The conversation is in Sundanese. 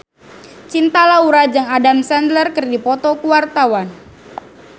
Cinta Laura jeung Adam Sandler keur dipoto ku wartawan